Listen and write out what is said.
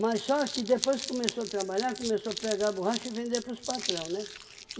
só que depois que começou a trabalhar, começou a pegar borracha e vender para os patrão, né?